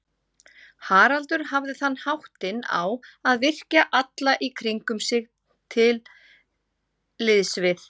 Haraldur hafði þann háttinn á að virkja alla í kringum sig til liðs við